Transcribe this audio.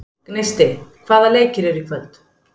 Gneisti, hvaða leikir eru í kvöld?